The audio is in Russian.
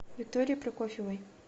викторией прокофьевой